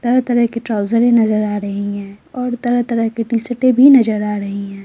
तरह-तरह की ट्राउजरें नजर आ रही है और तरह-तरह की टी-शर्टें भी नजर आ रही है।